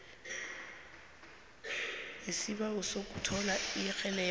nesibawo sokuthola irekhodi